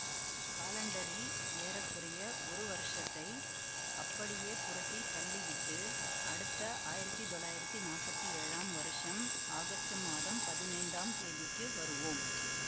காலண்டரில் ஏற குறைய ஒரு வருஷத்தை அப்படியே புரட்டித் தள்ளிவிட்டு அடுத்த ஆயிரத்தி தொள்ளாயிரத்தி நாப்பத்தி ஏழாம் வருஷம் ஆகஸ்டு மாதம் பதினைந்தாம் தேதிக்கு வருவோம்